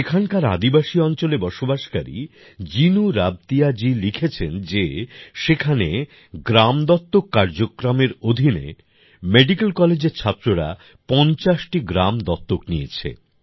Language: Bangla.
এখানকার আদিবাসী অঞ্চলে বসবাসকারী জিনু রাবতিয়াজী লিখেছেন যে সেখানে গ্রাম দত্তক কার্যক্রমের অধীনে মেডিকেল কলেজের ছাত্ররা ৫০ টি গ্রাম দত্তক নিয়েছে